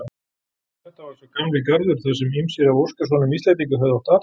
Þetta var sá gamli Garður þarsem ýmsir af óskasonum Íslendinga höfðu átt athvarf.